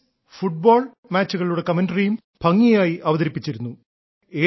tennis football മാച്ചുകളുടെ ദൃക്സാക്ഷി വിവരണം ഭംഗിയായി അവതരിപ്പിച്ചിരുന്നു